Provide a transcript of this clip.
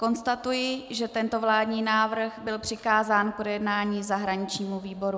Konstatuji, že tento vládní návrh byl přikázán k projednání zahraničnímu výboru.